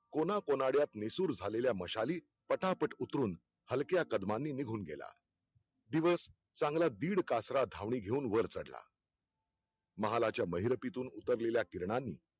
कोन्या कोनाड्यात निसूर झालेल्या मशाली पटापट उतरून, हल्क्या कदमांनी निघून गेला दिवस चांगला दीड कासरा धावणी घेऊन वर चढला महालाच्या महिरपीतीतून उतरलेल्या किरणांनी